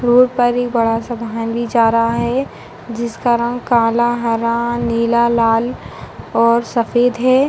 Road पर एक बड़ा-सा वाहन भी जा रहा है। जिसका रंग काला हरा नीला लाल और सफ़ेद है।